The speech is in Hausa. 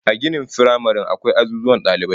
A ginin firamare akwai azuzuwan dalibai